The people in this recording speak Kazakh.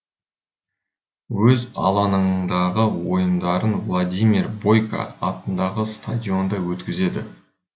өз алаңындағы ойындарын владимир бойко атындағы стадионда өткізеді